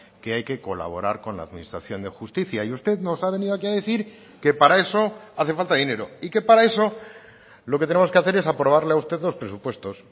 que hay que colaborar con la administración de justicia y usted nos ha venido aquí a decir que para eso hace falta dinero y que para eso lo que tenemos que hacer es aprobarle a usted los presupuestos